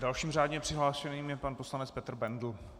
Dalším řádně přihlášeným je pan poslanec Petr Bendl.